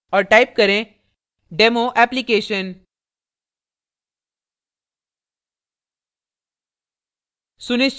और type करें demo application